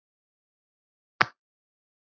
Hvenær fórstu síðast á völlinn?